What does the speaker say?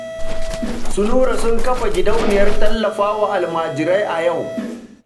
Su Nura sun kafa gidauniyar tallafa wa almajirai a yau